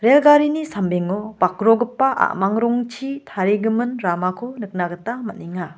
rel garini sambengo bakrogipa a·mang rongchi tarigimin ramako nikna gita man·enga.